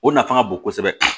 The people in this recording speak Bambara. O nafa ka bon kosɛbɛ